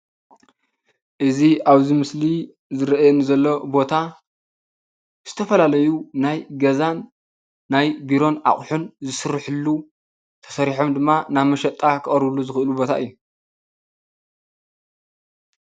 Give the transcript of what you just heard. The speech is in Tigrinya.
እዚ ኣብዚ ምስሊ ዝረኣየኒ ዘሎ ቦታ ዝተፈላለዩ ናይ ገዛን ናይ ቢሮን ኣቁሑን ዝስርሑሉ ተሰሪሑም ድማ ናብ መሸጣ ክቀርብሉ ዝኽእሉ ቦታ እዩ።